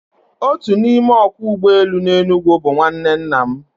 Otu n'ime ọkwọ ụgbọelu n'Enugu bụ nwanne nna m